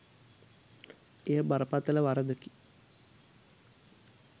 එය බරපතළ වරදකි